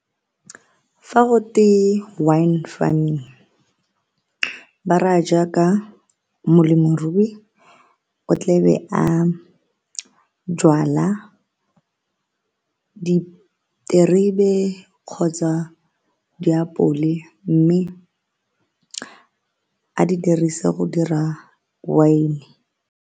Fa go twe wine farming ba ra jaaka molemirui o tle be a jwala diterebe kgotsa diapole mme a di dirise go dira wine.